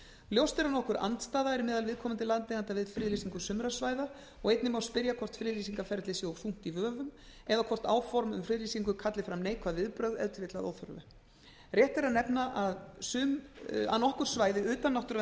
ljóst er að nokkur andstaða er meðal viðkomandi landeigenda við friðlýsingu sumra svæða og einnig má spyrja hvort friðlýsingarferlið sé of þungt í vöfum eða hvort áform um friðlýsingu kalli fram neikvæð viðbrögð ef til vill að óþörfu rétt er að nefna að nokkur svæði utan